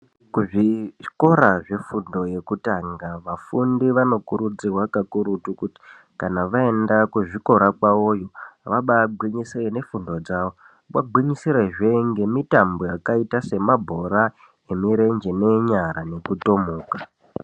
Kuzvikora zvefundo yekutanga vafundi vanokurudzirwa pakurutu kuti kana vaenda kuzvikora kwavoyo vabagwinyisire nefundo dzavo vagwinyisirezve ngemitambo yakaita semabhora emirenje nenyara nekutomuka.